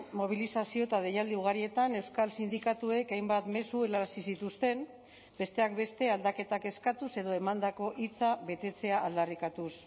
mobilizazio eta deialdi ugarietan euskal sindikatuek hainbat mezu helarazi zituzten besteak beste aldaketak eskatuz edo emandako hitza betetzea aldarrikatuz